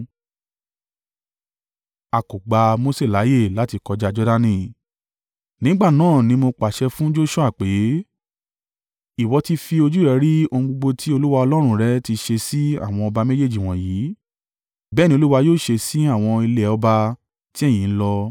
Nígbà náà ni mo pàṣẹ fún Joṣua pé, “Ìwọ tí fi ojú rẹ rí ohun gbogbo tí Olúwa Ọlọ́run rẹ tí ṣe sí àwọn ọba méjèèjì wọ̀nyí. Bẹ́ẹ̀ ni Olúwa yóò ṣe sí àwọn ilẹ̀ ọba tí ẹ̀yin n lọ.